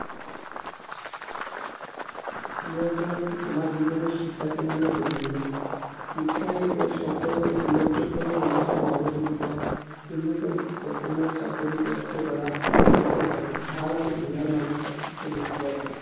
ইয়াৰ পৰা আমি আমাৰ জীৱনত শিক্ষা কেনেদৰে গুৰুত্বপূৰ্ণ, শিক্ষাই এতিয়া সকলোৰ লোকসকলৰ উন্নত নাগৰিক হোৱাত, উন্নত বেতনৰ চাকৰি প্ৰাপ্ত কৰাত সহায় কৰে। ভাল আৰু বেয়াৰ মাজৰ প্ৰাৰ্থক্য় দেখুৱায়।